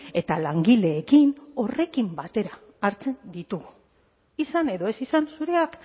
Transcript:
eta langileekin horrekin batera hartzen ditugu izan edo ez izan zureak